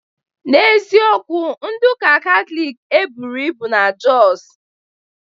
N'eziokwu, ndị uka Katọlik eburu ibu na Josu